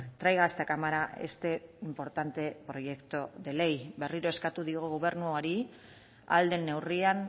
traiga a esta cámara este importante proyecto de ley berriro eskatu diogu gobernuari ahal den neurrian